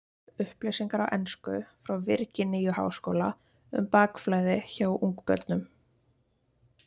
Upplýsingar á ensku frá Virginíu-háskóla um bakflæði hjá ungbörnum.